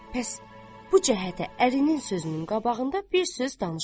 Pəs, bu cəhətə ərinin sözünün qabağında bir söz danışmadı.